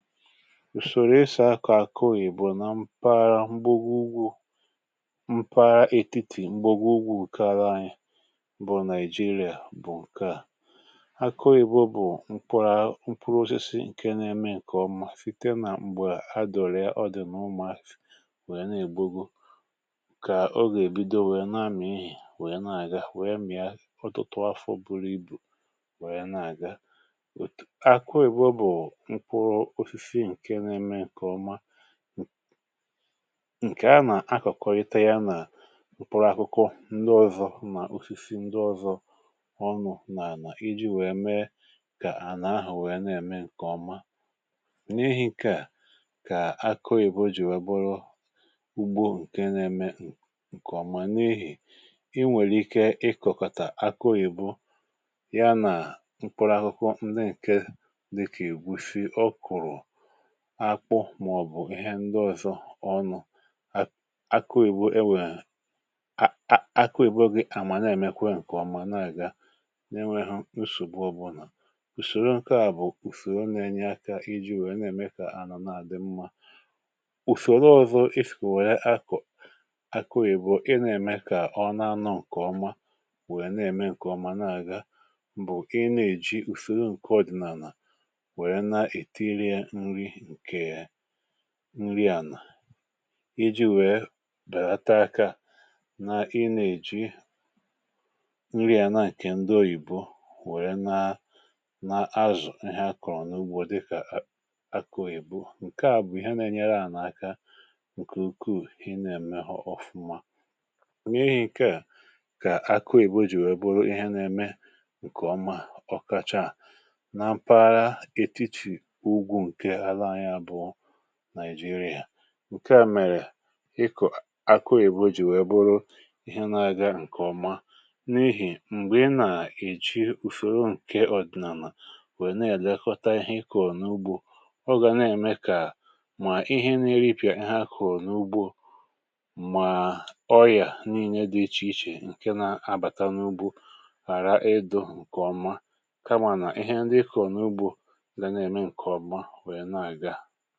ùsòrò esì akọ akịoyibo na mpaghara, mgbagwo ugwu mpaghara ètiti mgbagwo ugwu karȧ anyị bụ̀ Naijiria, bụ̀ ǹkè a. akịoyibo bụ̀ mkpụrụ osisi ǹke na-eme ǹkèọma site nà m̀gbè adọ̀rịa ọdì nà umuazi wee na-ègbugo kà ọ gà-èbido wèe na-amị̀ ihì wèe na-àga wèe mị̀a ọtụtụ afọ̀ buru ibù wèe na-àga akịoyibo ǹke a nà-akọ̀kọrịta ya nà m̀kpụrụ àkụkụ ndi ọzọ̇ nà ufizi ndi ọzọ̇ ọnụ̇ nà-ànà iji̇ wèe mee kà ànà ahụ̀ wèe na-ème ǹkèọma n’ihì ǹke à kà akịoyibo jì webụrọ ugbo ǹke n’eme ǹkèọma n’ihì i nwèrè ike ịkọ̀kọ̀tà akịoyibo ya nà mkpụrụ àkụkụ ndi ǹke akpụ màọbụ̀ ihe ndị ọ̇zọ̇ ọ nọ̀ akụ òyìbo e wèe ak, akụ òyìbo gị àmà na-èmekwa ǹkè ọma nà-àga n’enweghụ nshògbu ọbụlà ùsòro ǹkè a bụ̀ ùsòro na-enye aka iji̇ wèe na-ème kà anọ̀ nà àdị mmȧ ùsòro ọ̇zọ̇ iskè wère akọ̀ akụ òyìbo ị na-ème kà ọ na-anọ̇ ǹkè ọma wèe na-ème ǹkè ọma na-àga bụ̀ ị nà-èji ùsòro ǹkè ọ̀dịnà nà nri ànà iji wèe bèla ta akȧ nà ị nà-èji nri ànà ǹkè ǹdị oyìbo wère na na azụ̀ ihe a kọ̀rọ̀ n’ugbȯ dịkà akọ òyìbo ǹke à bụ̀ ihe na-enyere ànà aka ǹkè ukwu ị nà-ème họ ọfuma ònyè ihe ǹke à kọ akọ ìbo jì wèe bụrụ ihe na-eme ǹkè ọma ọkachaà nàịjirịà ǹke à mèrè ịkọ̀ akụ èbùjì wee bụrụ ihe na-aga ǹkè ọma n’ihì m̀gbè ị nà-èji ùfèo ǹke ọ̀dị̀nàmà wèe na-àlekọta ihe ịkọ̀ n’ugbȯ ọ gà na-ème kà mà ihe n’ere ịpị̀à ihe akọ̀ n’ugbȯ mà ọyà n’ìnye dị ichè ichè ǹke na-abàta n’ugbȯ hàra ịdụ̇ ǹkè ọma kamà nà ihe ndị ịkọ̀ n’ugbȯ ya